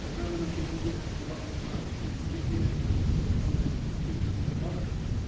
экзаменнің кезінде олардың да өту деңгейі өзіңіз айтқандай кемшіліктер бар